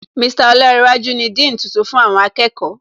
Mr Olánréwájú ni Dean tuntun fún àwọn akẹ́kọ̀ọ́